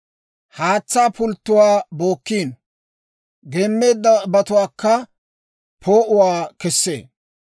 Haatsaa pulttuwaa bookino; geemmeeddabatuwaakka poo'uwaa kessee.